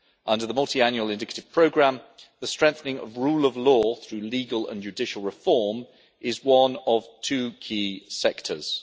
Under the Multiannual Indicative Programme, the strengthening of the rule of law through legal and judicial reform is one of two key sectors.